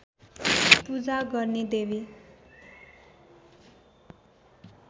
पूजा गर्ने देवी